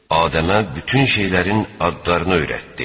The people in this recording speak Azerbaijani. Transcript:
Adəmə bütün şeylərin adlarını öyrətdi.